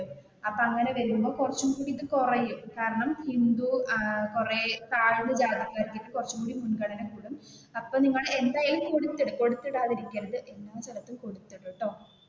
അപ്പൊ അങ്ങനെ വരുമ്പോൾ കുറച്ചും കൂടി കുറയും കാരണം ഹിന്ദു കുറെ താഴ്ന്ന ജാതിക്കാർക്ക് കുറച്ചും കൂടി മുൻഗണന കിട്ടും അപ്പൊ നിങ്ങൾ എന്തായാലും കൊടുത്തിടുക കൊടുത്തിടാതെ ഇരിക്കരുത്.